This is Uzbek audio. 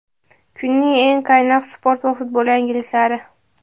Kunning eng qaynoq sport va futbol yangiliklari:.